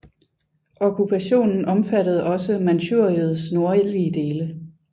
Okkupationen omfattede også Manchuriets nordlige dele